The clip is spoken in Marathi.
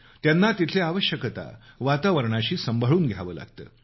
त्यांना तिथल्या आवश्यकता वातावरणाशी सांभाळून घ्यावं लागतं